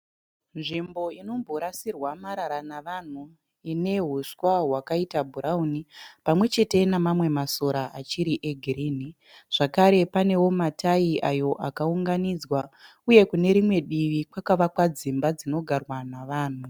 Nzvimbo inomborasirwa marara navanhu ine huswa hwakaita bhurawuni pamwe chete nemamwe masora achiri egirinhi zvakare panewo matayi ayo akaunganidzwa uye kune rimwe divi kwakavakwa dzimba dzinogarwa navanhu.